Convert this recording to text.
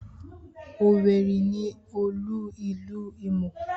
Owerri ni olú ìlú Imo.